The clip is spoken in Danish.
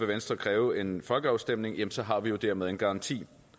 venstre kræve en folkeafstemning jamen så har vi jo dermed en garanti